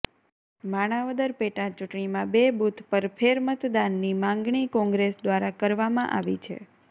માણાવદર પેટાચૂંટણીમાં બે બૂથ પર ફેરમતદાનની માંગણી કોંગ્રેસ દ્વારા કરવામાં આવી છે